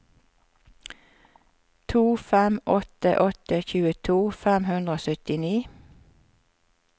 to fem åtte åtte tjueto fem hundre og syttini